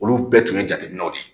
Olu bɛɛ tun ye jateminɛw de ye